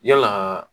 Yalaa